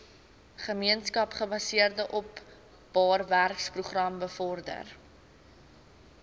gemeenskapsgebaseerde openbarewerkeprogram bevorder